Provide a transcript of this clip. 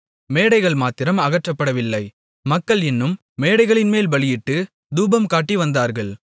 மேடைகள் மாத்திரம் அகற்றப்படவில்லை மக்கள் இன்னும் மேடைகளின்மேல் பலியிட்டுத் தூபம்காட்டி வந்தார்கள்